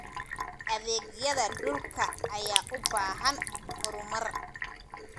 Adeegyada dhulka ayaa u baahan horumar.